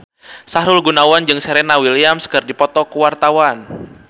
Sahrul Gunawan jeung Serena Williams keur dipoto ku wartawan